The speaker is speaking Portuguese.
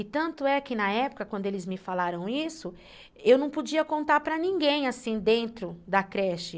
E tanto é que na época, quando eles me falaram isso, eu não podia contar para ninguém, assim, dentro da creche.